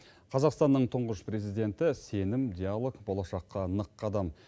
қазақстанның тұңғыш президенті сенім диалог болашаққа нық қадам